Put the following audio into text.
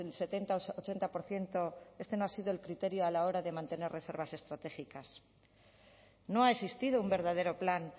setenta ochenta por ciento este no ha sido el criterio a la hora de mantener reservas estratégicas no ha existido un verdadero plan